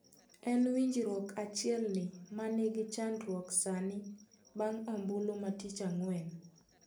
En winjruok achielni ma nigi chandruok sani bang' ombulu ma tich ang'uen.